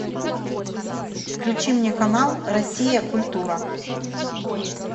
включи мне канал россия культура